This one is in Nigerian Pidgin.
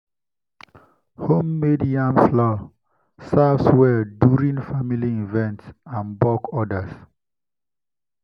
homemade yam flour serves well during during family events and bulk orders.